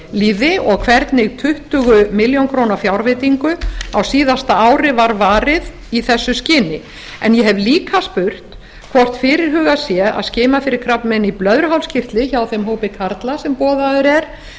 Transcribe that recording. lið og hvernig tuttugu milljónir króna fjárveitingu á síðasta ári var varið í þessu skyni en ég hef lið spurt hvort fyrirhugað sé að skima fyrir krabbameini í blöðruhálskirtli hjá þeim hópi karla sem boðaður er